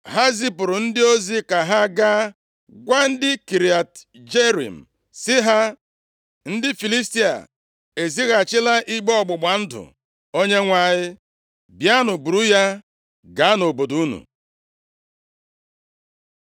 Ha zipụrụ ndị ozi ka ha gaa gwa ndị Kiriat Jearim sị ha, “Ndị Filistia ezighachila igbe ọgbụgba ndụ Onyenwe anyị. Bịanụ buru ya gaa nʼobodo unu.”